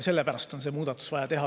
Sellepärast on see muudatus vaja teha.